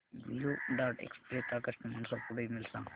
blue Dart Express चा customer support email सांग